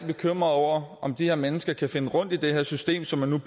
bekymret over om de her mennesker kan finde rundt i det her system som man